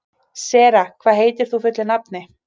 Sera, hvað heitir þú fullu nafni?